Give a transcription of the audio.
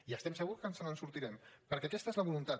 i estem segurs que ens en sortirem perquè aquesta és la voluntat